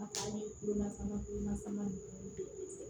A ye bolola sama kulomasama